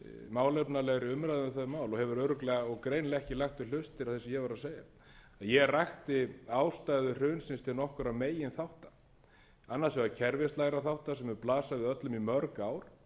málefnalegri umræðu um þau mál og hefur greinilega ekki lagt við hlustir það sem ég var að segja en ég rakti ástæður hrunsins til nokkurra meginþátta annars vegar kerfislegra þátta sem hafa blasa við öllum í mörg ár og